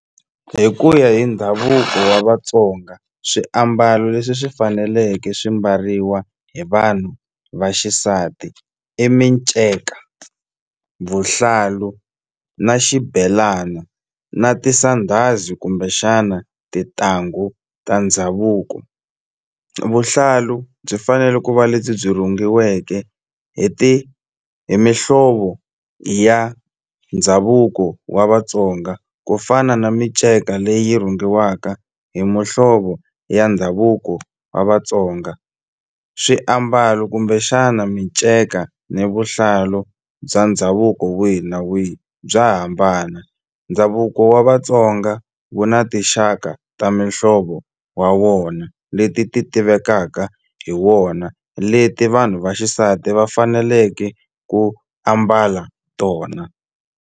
Hi ku ya hi ndhavuko wa Vatsonga swiambalo leswi swi faneleke swi mbariwa hi vanhu vaxisati i minceka vuhlalu na xibelana na tisandhazi kumbexana tintangu ta ndhavuko vuhlalu byi fanele ku va lebyi byi rhungiweke hi ti hi mihlovo ya ndhavuko wa Vatsonga ku fana na minceka leyi rhungiwaka hi muhlovo ya ndhavuko wa Vatsonga swiambalo kumbexana minceka ni vuhlalu bya ndhavuko wihi na wihi bya hambana ndhavuko wa Vatsonga wu na tinxaka ta mihlovo wa wona leti ti tivekaka hi wona leti vanhu va xisati va faneleke ku ambala tona.